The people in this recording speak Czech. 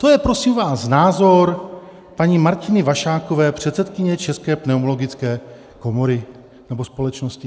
To je prosím vás názor paní Martiny Vašákové, předsedkyně České pneumologické komory nebo společnosti.